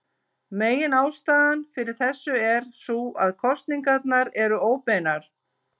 Meginástæðan fyrir þessu er sú að kosningarnar eru óbeinar.